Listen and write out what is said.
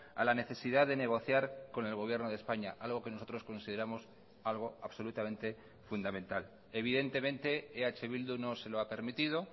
a la necesidad de negociar con el gobierno de españa algo que nosotros consideramos algo absolutamente fundamental evidentemente eh bildu no se lo ha permitido